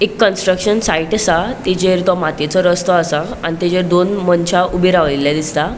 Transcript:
एक construction site आसा तिचेर तो मातीयेचो रस्तों आसा आणि तेचेर दोन मनशा ऊबे राओईले दिसता.